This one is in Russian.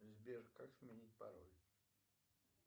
сбер как сменить пароль